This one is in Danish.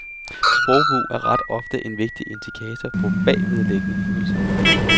Sprogbrug er ret ofte en vigtigt indikator på bagvedliggende følelser.